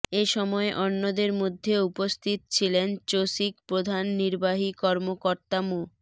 এ সময় অন্যদের মধ্যে উপস্থিত ছিলেন চসিক প্রধান নির্বাহী কর্মকর্তা মো